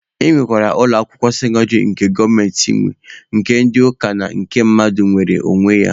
E nwekwara ụlọ akwụkwọ sekọndịrị nke gọọmenti nwe, nke ndị ụka na nke mmadụ nwere n'onwe ya.